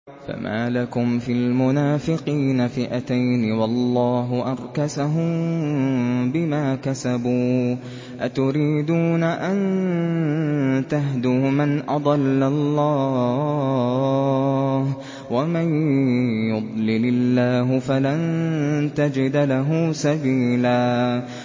۞ فَمَا لَكُمْ فِي الْمُنَافِقِينَ فِئَتَيْنِ وَاللَّهُ أَرْكَسَهُم بِمَا كَسَبُوا ۚ أَتُرِيدُونَ أَن تَهْدُوا مَنْ أَضَلَّ اللَّهُ ۖ وَمَن يُضْلِلِ اللَّهُ فَلَن تَجِدَ لَهُ سَبِيلًا